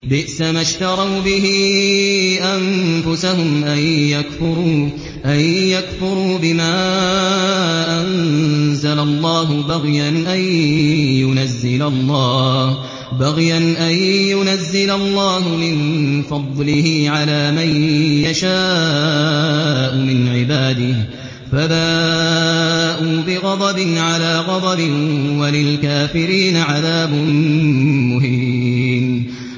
بِئْسَمَا اشْتَرَوْا بِهِ أَنفُسَهُمْ أَن يَكْفُرُوا بِمَا أَنزَلَ اللَّهُ بَغْيًا أَن يُنَزِّلَ اللَّهُ مِن فَضْلِهِ عَلَىٰ مَن يَشَاءُ مِنْ عِبَادِهِ ۖ فَبَاءُوا بِغَضَبٍ عَلَىٰ غَضَبٍ ۚ وَلِلْكَافِرِينَ عَذَابٌ مُّهِينٌ